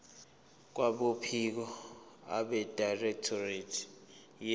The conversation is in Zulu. kwabophiko abedirectorate ye